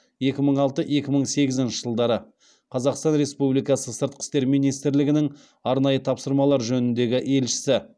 екі мың алты екі мың сегізінші жылдары қазақстан республикасы сыртқы істер министрлігінің арнайы тапсырмалар жөніндегі елшісі